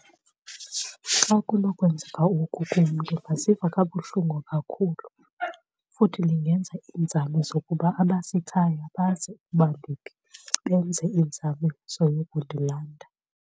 Xa kunokwenzeka oku kum ndingaziva kabuhlungu kakhulu futhi ndingenza iinzame zokuba abasekhaya bazi ukuba ndiphi benze iinzame zoyokundilanda.